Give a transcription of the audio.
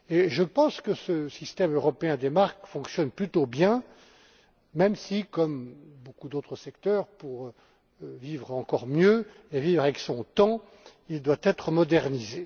Je pense que ce système européen des marques fonctionne plutôt bien, même si, comme pour beaucoup d'autres secteurs, pour vivre encore mieux et vivre avec son temps, il doit être modernisé.